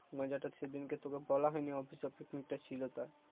মজাটা সেদিনকে তোকে বলা হয়নি অফিস অফিস পিকনিক টা ছিলো তাই